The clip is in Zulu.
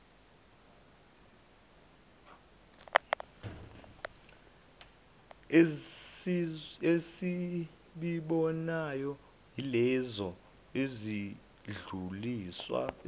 esizibonayo ilezo ezidluliswe